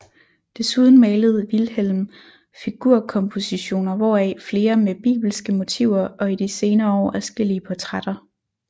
Desuden malede Wilhjelm figurkompositioner hvoraf flere med bibelske motiver og i de senere år adskillige portrætter